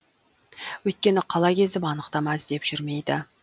өйткені қала кезіп анықтама іздеп жүрмейді